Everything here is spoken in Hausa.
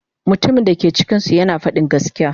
Mutumin da ke cikinsu yana faɗin gaskiya.